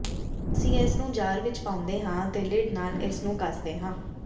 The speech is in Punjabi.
ਹੁਣ ਅਸੀਂ ਇਸ ਨੂੰ ਜਾਰ ਵਿਚ ਪਾਉਂਦੇ ਹਾਂ ਅਤੇ ਲਿਡ ਨਾਲ ਇਸ ਨੂੰ ਕੱਸਦੇ ਹਾਂ